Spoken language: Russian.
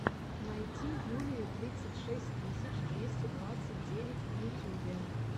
найти юлию тридцать шесть тысяч двести двадцать девять в ютюбе